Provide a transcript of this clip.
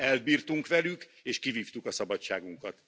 Elbírtunk velük és kivívtuk a szabadságunkat.